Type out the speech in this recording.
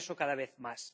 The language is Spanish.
Y eso, cada vez más.